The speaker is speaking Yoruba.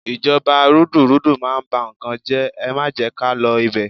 Ìjọba rúdurùdu máa ń bá n kan jẹ́, ẹ má jẹ́ ká lọ ibẹ̀.